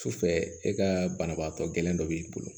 Sufɛ e ka banabaatɔ gɛlɛn dɔ b'i bolo